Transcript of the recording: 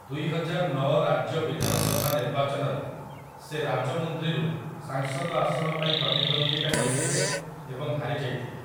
ଦୁଇହଜାରନଅ ରାଜ୍ୟ ବିଧାନସଭା ନିର୍ବାଚନରେ ସେ ରାଜମୁନ୍ଦ୍ରିରୁ ସାଂସଦ ଆସନ ପାଇଁ ପ୍ରତିଦ୍ୱନ୍ଦ୍ୱିତା କରିଥିଲେ ଏବଂ ହାରିଯାଇଥିଲେ ।